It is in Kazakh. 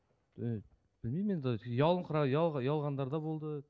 і білмеймін енді ұялғандар да болды